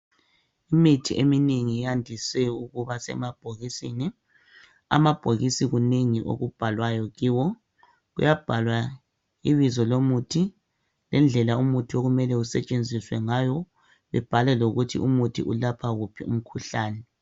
Imithi eminengi yandise ukuba semabhokisini, amabhokisi kunengi okubhalwayo kiwo. Kuyabhalwa ibizo lomuthi lendlela umuthi okumele usetshenzizwe ngayo, libhalwe lokuthi umuthi ulapha wuphi umkhuhlane.